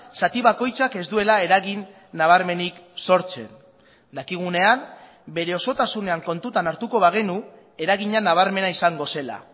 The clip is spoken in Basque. zati bakoitzak ez duela eragin nabarmenik sortzen dakigunean bere osotasunean kontutan hartuko bagenu eragina nabarmena izango zela